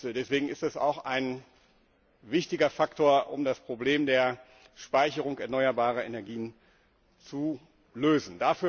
Deswegen ist es auch ein wichtiger Faktor, um das Problem der Speicherung erneuerbarer Energien zu lösen.